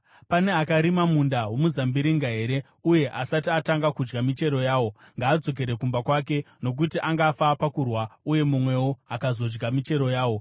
Pane akarima munda womuzambiringa here uye asati atanga kudya michero yawo? Ngaadzokere kumba kwake, nokuti angafa pakurwa uye mumwewo akazodya michero yawo.